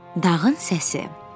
Dağın səsi.